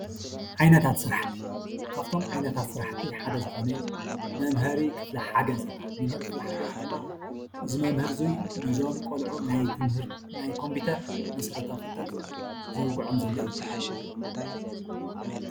ዓይነት ስረሓቲ ካብእቶም ዓይነታት ስረሓቲ ሓደ ዝኮነ ሓደ መምሀሪ ክፍሊ ሓገዝ ይበሃል መምሀሪ ክፍሊ ሓገዝ ድማ እዚ መምህር ንዞም ቆልዑ ናይ ትምህርቲ ናይ ኮምፕዩተር መሰርታዊ ፍልጠት ዘዉግዖም ዘሎ እዩ።